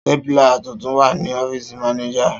Stapler tuntun wa ni ọfiisi Manager.